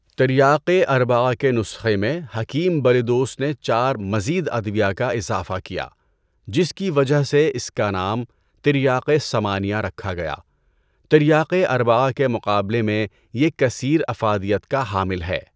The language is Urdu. تریاقِ اربعہ کے نسخے میں حکیم بلیدوس نے چار مزید ادویہ کا اِضافہ کیا جس کی وجہ سے اِس کا نام تریاقِ ثمانیہ رکھا گیا۔ تریاقِ اربعہ کے مقابلہ میں یہ کثیر افادیت کا حامل ہے۔